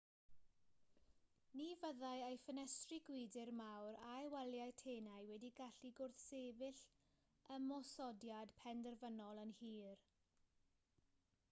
ni fyddai ei ffenestri gwydr mawr a'i waliau tenau wedi gallu gwrthsefyll ymosodiad penderfynol yn hir